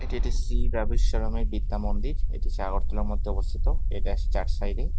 এটা শ্রী ব্যবসরানীম বিদ্যমন্দির এটি চারবটতলার মধ্যে অবস্থিত চার সাইডে--